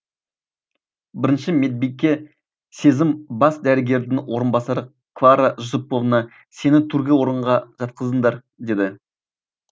бірінші медбике сезім бас дәрігердің орынбасары клара жүсіповна сені төргі орынға жатқызыңдар деді